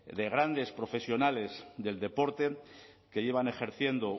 de grandes profesionales del deporte que llevan ejerciendo